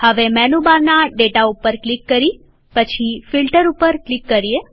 હવે મેનુ બારના ડેટા ઉપર ક્લિક કરી પછી ફિલ્ટર ઉપર ક્લિક કરીએ